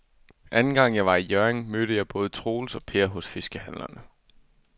Anden gang jeg var i Hjørring, mødte jeg både Troels og Per hos fiskehandlerne.